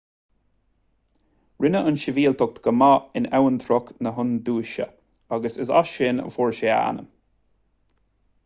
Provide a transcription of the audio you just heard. rinne an tsibhialtacht go maith in abhantrach na hiondúise agus is as sin a fuair sé a ainm